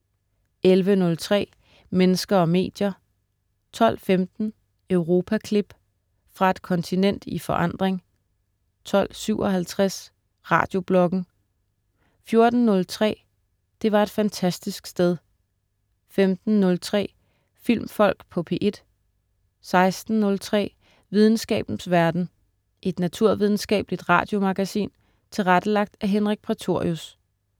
11.03 Mennesker og medier* 12.15 Europaklip. Fra et kontinent i forandring 12.57 Radiobloggen* 14.03 Det var et fantastisk sted* 15.03 Filmfolk på P1* 16.03 Videnskabens verden. Et naturvidenskabeligt radiomagasin tilrettelagt af Henrik Prætorius